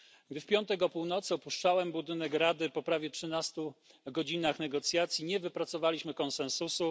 Gdy w piątek o północy opuszczałem budynek Rady po prawie trzynastu godzinach negocjacji, nie wypracowaliśmy konsensusu.